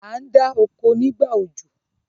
a ndá oko nígbà òjò.